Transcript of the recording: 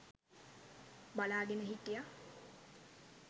බලාගෙන හිටියා.